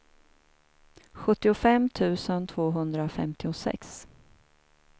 sjuttiofem tusen tvåhundrafemtiosex